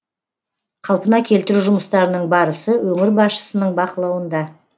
қалпына келтіру жұмыстарының барысы өңір басшысының бақылауында